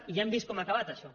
i ja hem vist com ha acabat això